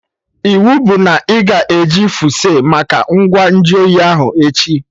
Iwu bụ na ị ga eji fuse make ngwa nju oyi ahụ, echi!